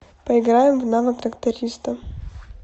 поиграем в навык трактариста